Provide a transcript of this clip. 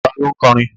Ta ló ń kọrin?